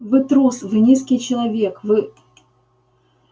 вы трус вы низкий человек вы